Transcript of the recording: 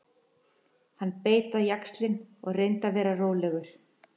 Hann beit á jaxlinn og reyndi að vera rólegur.